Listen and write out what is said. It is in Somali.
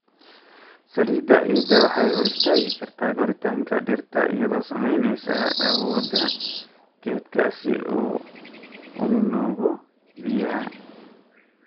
Saliidda ciidda waxay hor istaagi kartaa koritaanka dhirta iyadoo saameynaysa awoodda geedka si uu u nuugo biyaha.